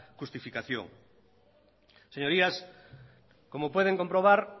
justificación señorías como pueden comprobar